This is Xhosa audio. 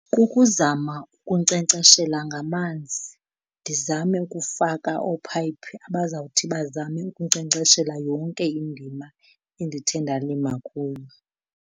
Kukuzama ukunkcenkceshela ngamanzi, ndizame ukufaka oopayiphi abazawuthi bazame ukunkcenkceshela yonke indima endithe ndalima kuyo.